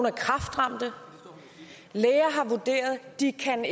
er kræftramte læger har vurderet at de ikke kan